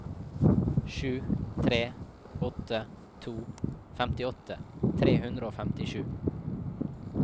sju tre åtte to femtiåtte tre hundre og femtisju